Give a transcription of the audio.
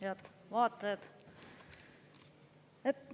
Head vaatajad!